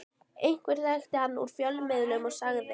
Einhver þekkti hann úr fjölmiðlum og sagði